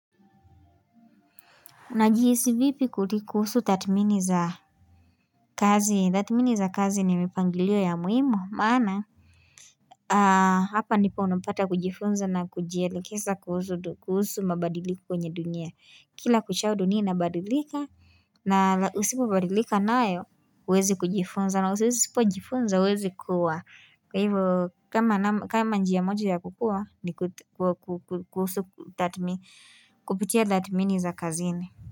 Unajihisi vipi kuhusu tathmini za kazi tathmini za kazi ni mipangilio ya muhimu maana Hapa nipo unapata kujifunza na kujielekeza kuhusu mabadiliko kwenye dunia kila kuchao dunia ina badilika na usipo badilika nayo uwezi kujifunza na usipo jifunza uwezi kuwa kwa hivyo kama njia moja ya kukua ni kuhusu tathmini kupitia tathmini za kazi ni.